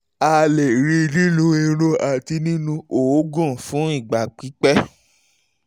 a lè rí i nínú irun àti nínú òógùn fún ìgbà pípẹ́